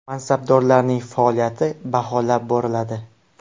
Mansabdorlarning faoliyati baholab boriladi.